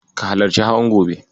Ka halarci hawan gobe.